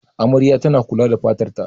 Amaryar tana kula da fatar ta.